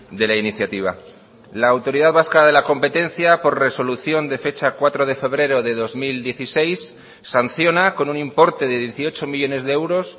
de la iniciativa la autoridad vasca de la competencia por resolución de fecha cuatro de febrero de dos mil dieciséis sanciona con un importe de dieciocho millónes de euros